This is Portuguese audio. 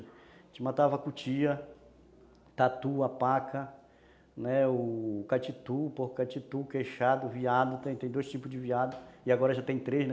A gente matava cutia, tatu, a paca, catitu, porco catitu, queixado, veado, tem dois tipos de veado e agora já tem três, né?